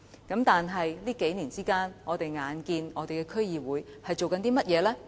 可是，從我們近年所見，區議會所做的是甚麼呢？